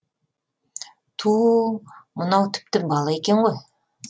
туу мынау тіпті бала екен ғой